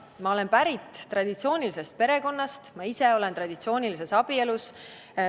Ma olen pärit traditsioonilisest perekonnast, ma ise olen traditsioonilises abielus.